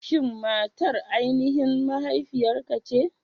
Shin matar aininhin mahaifiyarka ce?